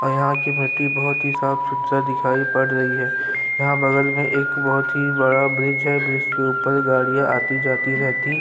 और यहाँ की मट्टी बहुत ही साफ़ सुथरा दिखाई पड़ रही है यहाँ बगल में एक बहुत ही बड़ा ब्रिज है ब्रिज के ऊपर में गाड़िया आती-जाती रहती --